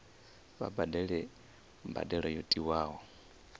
vha badele mbadelo yo tiwaho